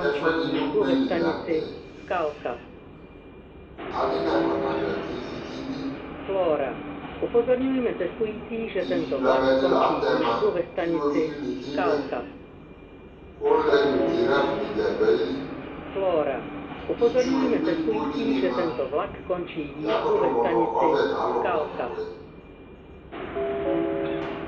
ɛƒʋɛdi nʋ ʋgbɛli lantɛ, adi nakɔ na wlia kʋ ivi kɛ ɛdè, ivi blamɛ di la atɛma kʋ iwɔviʋ ni kɛ nyʋa, ʋlɛ nʋ giraffe nigya dʋali, itsʋ ɛdigbɔ digbɔ dini ma, yakʋtʋ mʋnʋ ɔvɛ kalʋ kpa nabʋɛ